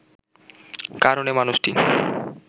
কারণ এ মানুষটি